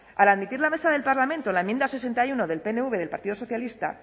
al admitir la mesa del parlamento la enmienda sesenta y uno del pnv del partido socialista